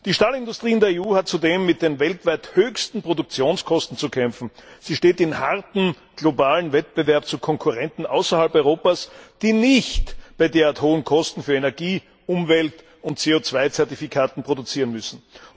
Die Stahlindustrie in der EU hat zudem mit den weltweit höchsten Produktionskosten zu kämpfen. Sie steht in hartem globalen Wettbewerb zu Konkurrenten außerhalb Europas, die nicht bei derart hohen Kosten für Energie, Umwelt und CO 2 Zertifikate produzieren müssen.